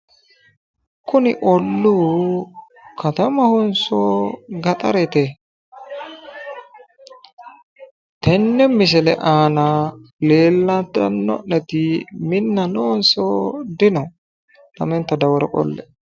Kuni olluu katamahonso gaxarete tenne misile aana leellanno'neti minna noonso dino lamenta dawaro qolle''e?